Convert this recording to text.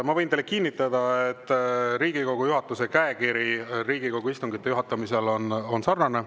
Ma võin teile kinnitada, et Riigikogu juhatuse käekiri Riigikogu istungite juhatamisel on sarnane.